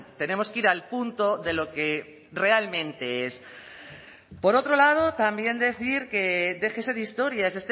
tenemos que ir al punto de lo que realmente es por otro lado también decir que déjese de historias